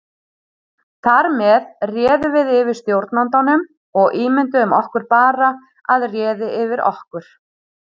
Þar með réðum við yfir stjórnandanum og ímynduðum okkur bara að réði yfir okkur.